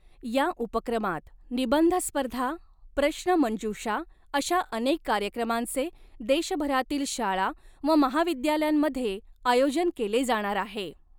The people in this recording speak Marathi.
या उपक्रमात निबंध स्पर्धा, प्रश्नमंजूूषा अशा अनेक कार्यक्रमांचे देशभरातील शाळा व महाविद्यालयांमध्ये आयोजन केले जाणार आहे.